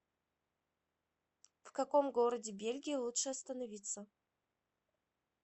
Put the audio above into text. в каком городе бельгии лучше остановиться